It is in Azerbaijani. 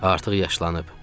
Artıq yaşlanıb.